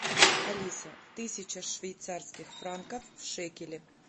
алиса тысяча швейцарских франков в шекели